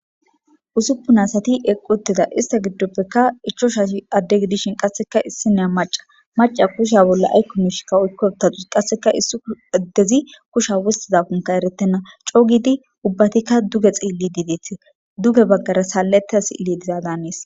Usupun asati eqi uttida isya gisope ichavhati ade gidishin issiniya maca macaya kusha bolla ayko misheka oyka uttadus qaseka issi adezi kusha wostizakoka eretena co gidi ubbatika duge xelidi feetes duge bagara saletida si'iley diza danes